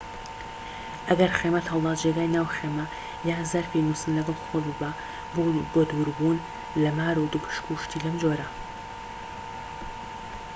ئەگەر خێمەت هەڵدا جێگەی ناو خێمە یان زەرفی نوستن لەگەڵ خۆت ببە بۆ بەدووربوون لە مار و دووپشك و شتی لەم جۆرە